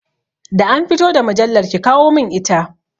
Da an fito da mujallar, ki kawo mun ita!